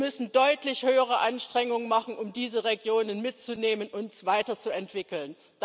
Wir müssen deutlich höhere Anstrengungen machen, um diese Regionen mitzunehmen und weiterzuentwickeln.